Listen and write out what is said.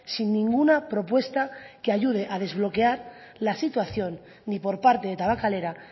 sin ninguna propuesta que ayude a desbloquear la situación ni por parte de tabakalera